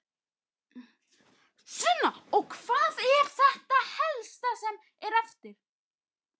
Sunna: Og hvað er þetta helsta sem er eftir?